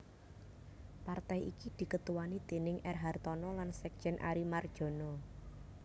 Partai iki diketuani déning R Hartono lan sekjen Ary Mardjono